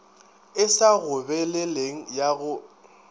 e sa gobeleleng ya go